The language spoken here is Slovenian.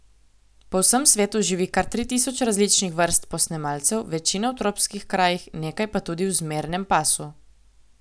Po vsem svetu živi kar tri tisoč različnih vrst posnemalcev, večina v tropskih krajih, nekaj pa tudi v zmernem pasu.